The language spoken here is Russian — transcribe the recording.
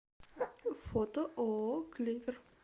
фото ооо клевер